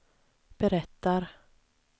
berättar